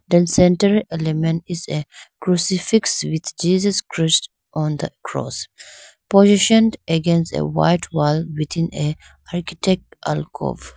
then center element is a crucifix with jesus christ on the cross positioned against a white wall within a architect or .